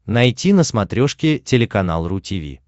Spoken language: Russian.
найти на смотрешке телеканал ру ти ви